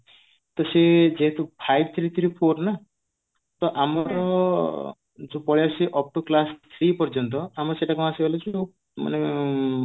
ତ ସେଇଠୁ ସେ ତ five three three four ନା ତ ଆମର ପଳେଇଆସିଛି up to class three ପର୍ଯ୍ୟନ୍ତ ଆମର ସେଇଟା ମାନେ